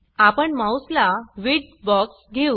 आपण माउस ला width box घेऊ